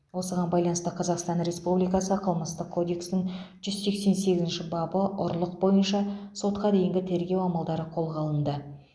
осыған байланысты қазақстан республикасы қылмыстық кодексінің жүз сексен сегізінші бабы ұрлық бойынша сотқа дейінгі тергеу амалдары қолға алынды